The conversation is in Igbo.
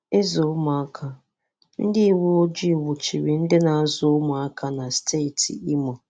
Ịzụ ụmụaka: Ndị uwe ojii nwụchiri ndị na-azụ ụmụaka na steeti Imo.